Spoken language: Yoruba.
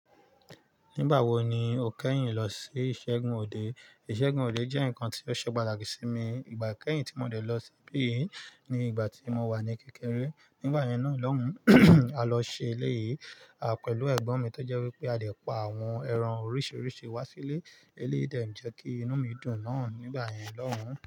Nígbà wo ni o kẹ́yìn lọ sí Ìṣẹ́gun òde? Ìṣẹ́gun òde jẹ́ ǹkan tí ó ṣe patakí sí mi ìgbà kẹ́yìn tí mo dẹ̀ lọ síbí, ní ìgbà tí mo wà ní kékeré. Nígbà yẹn náà lọ́hùn, a lọ ṣe eléyìí, àpẹ̀lú ẹ̀gbọ́n mi tó jẹ́ wípé a dẹ̀ pa àwọn ẹran oríṣiríṣi wá sílé. Eléyìí dẹ̀ jẹ́ kí inú mi dùn náàn nígbà yẹn lọ́hùn.